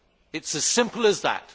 It is as simple as that.